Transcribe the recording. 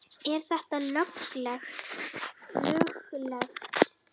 Er þetta löglegt?